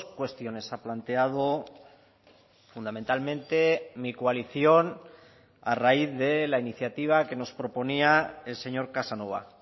cuestiones ha planteado fundamentalmente mi coalición a raíz de la iniciativa que nos proponía el señor casanova